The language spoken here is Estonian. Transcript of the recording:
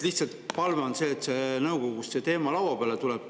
Lihtsalt palve on see, et nõukogus see teema lauale tuleks.